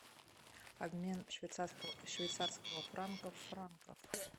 обмен швейцарского швейцарского франка франков